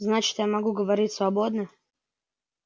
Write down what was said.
значит я могу говорить свободно